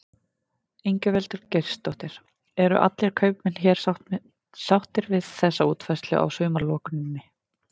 Ingveldur Geirsdóttir: Eru allir kaupmenn hér sáttir við þessa útfærslu á sumarlokuninni?